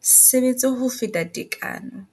sebetse ho feta tekano,